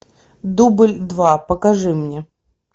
дубль два покажи мне